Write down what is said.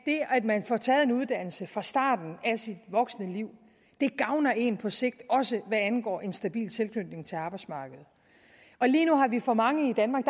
at man får taget en uddannelse fra starten af sit voksne liv gavner en på sigt også hvad angår en stabil tilknytning til arbejdsmarkedet lige nu har vi for mange i danmark